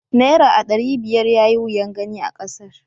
Naira aɗari biyar yayi wuyan gani a kasar.